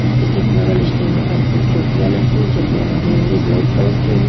उसके टिक मगल स्टैंड पर कुछ चोटियां लटकी हैं चोटियाँ रंग बिरंगी ब्लैक कलर की है।